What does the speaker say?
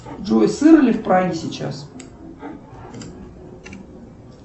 джой сыро ли в праге сейчас